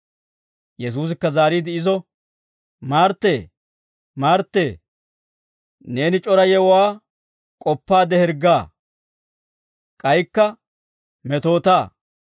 Yesuusikka zaariide izo, «Marttee, Marttee, neeni c'ora yewuwaa k'oppaadde hirggaa; k'aykka metootaa.